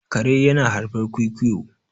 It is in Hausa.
kare yana haifar kwikwiyo